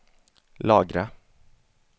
lagra